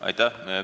Aitäh!